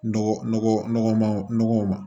Dɔgɔ nɔgɔman nɔgɔw ma